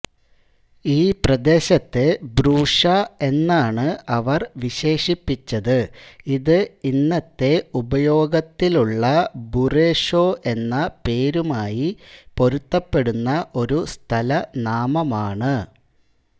ഈ പ്രദേശത്തെ ബ്രൂഷ എന്നാണ് അവർ വിശേഷിപ്പിച്ചത് ഇത് ഇന്നത്തെ ഉപയോഗത്തിലുള്ള ബുറുഷോ എന്ന പേരുമായി പൊരുത്തപ്പെടുന്ന ഒരു സ്ഥലനാമമാണ്